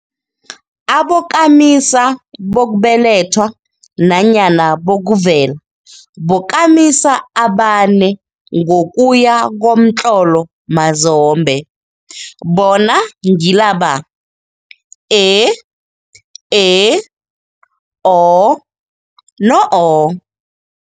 Abokamisa bokubelethwa nanyana bokuvela bokamisa amane ngokuya ngokomtlolo mazombe, bona ngilaba, e, e, o no-o.